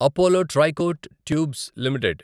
Apollo Tricoat tubes limited